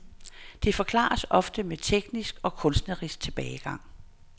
Det forklares ofte med teknisk og kunstnerisk tilbagegang.